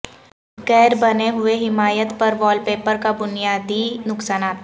غیر بنے ہوئے حمایت پر وال پیپر کا بنیادی نقصانات